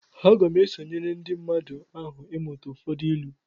Aga m esonyere ndị mmadụ ahụ ịmụta ụfọdụ ịlu